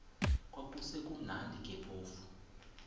kwakusekumnandi ke phofu